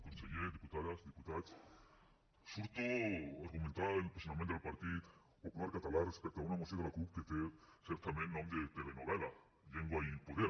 conseller diputades diputats surto a argumentar el posicionament del partit popular català respecte a una moció de la cup que té certament nom de telenovel·la llengua i poder